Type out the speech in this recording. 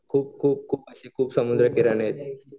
खूप खूप खूप अशी समुद्र किनारे आहेत.